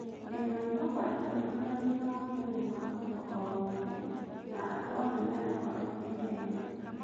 Ndĩna mwĩhoko ndĩkũritũhia ũgima wa mwerĩ wa mũndũ ũũ wothe na andũ othe magũkorwo mĩega.